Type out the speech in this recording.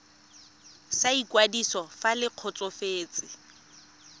sa ikwadiso fa le kgotsofetse